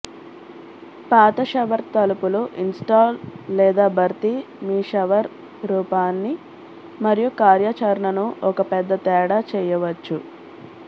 పాత షవర్ తలుపులు ఇన్స్టాల్ లేదా భర్తీ మీ షవర్ రూపాన్ని మరియు కార్యాచరణను ఒక పెద్ద తేడా చేయవచ్చు